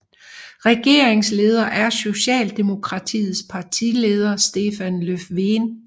Regeringsleder er Socialdemokratiets partileder Stefan Löfven